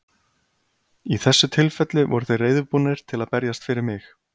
Í þessu tilfelli voru þeir reiðubúnir til að berjast fyrir mig.